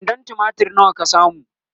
kwandon tumatir nawa ka samu?